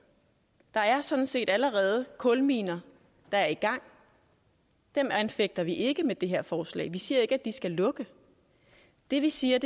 der er sådan set allerede kulminer der er i gang og dem anfægter vi ikke med det her forslag vi siger ikke at de skal lukke det vi siger